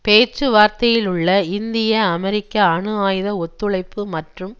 பேச்சுவார்த்தையிலுள்ள இந்தியஅமெரிக்க அணுஆயுத ஒத்துழைப்பு மற்றும்